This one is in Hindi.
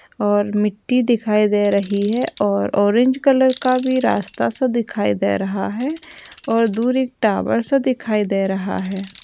और मिट्टी दिखाई दे रही है और ऑरेंज कलर का भी रास्ता-सा दिखाई दे रहा है और दूर एक टावर सा दिखाई दे रहा है।